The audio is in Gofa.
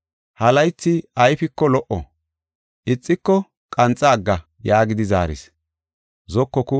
Ha laythi ayfiko lo77o, ixiko qanxa agga’ ” yaagidi zaaris.